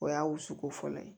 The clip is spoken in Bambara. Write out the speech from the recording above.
O y'a wusuko fɔlɔ ye